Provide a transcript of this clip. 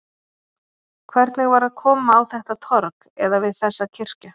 Hvernig var að koma á þetta torg, eða við þessa kirkju?